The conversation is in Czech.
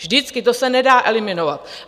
Vždycky, to se nedá eliminovat.